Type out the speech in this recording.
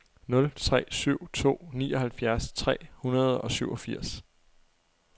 nul tre syv to nioghalvfjerds tre hundrede og syvogfirs